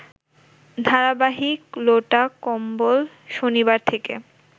ধারাবাহিক ‘লোটাকম্বল’ শনিবার থেকে